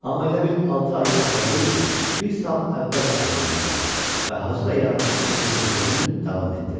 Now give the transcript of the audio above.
Amma elə bil altı ay əvvəl deyil, bir saat əvvəl ayrılmışdılar və Hacı da yarımçıq kəsilmiş sözünü davam etdirdi.